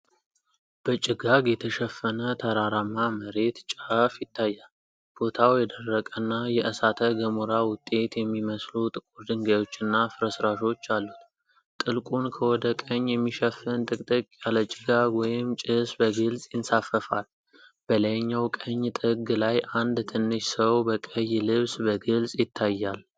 በጭጋግ የተሸፈነ ተራራማ መሬት ጫፍ ይታያል። ቦታው የደረቀና የእሳተ ገሞራ ውጤት የሚመስሉ ጥቁር ድንጋዮችና ፍርስራሾች አሉት። ጥልቁን ከወደ ቀኝ የሚሸፍን ጥቅጥቅ ያለ ጭጋግ ወይም ጭስ በግልጽ ይንሳፈፋል። በላይኛው ቀኝ ጥግ ላይ አንድ ትንሽ ሰው በቀይ ልብስ በግልጽ ይታያል።